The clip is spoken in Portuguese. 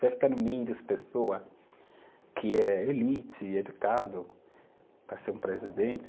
ficar no meio das pessoa que é elite, educado, para ser um presidente?